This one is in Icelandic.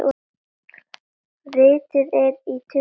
Ritið er í tuttugu bókum.